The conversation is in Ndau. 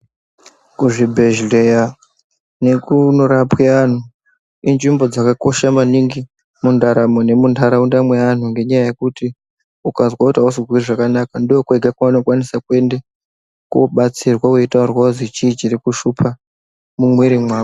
Zvibhedhleya nekuno rapwe anhu inzvimbo dzaka kosha maningi mu ndaramo ne mundaraunda me anhu nenya yekuti ukazwe kuti ausi kuzwe zvakanaka ndokwega kwauno kwanise kuende kobatsirwa wei taurirwa kuzi chii chiri kushupa mu mwiri mwako.